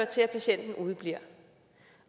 til at patienten udebliver